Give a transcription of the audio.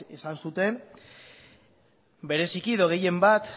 esan zuten bereziki edo gehienbat